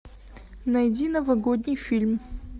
найди новогодний фильм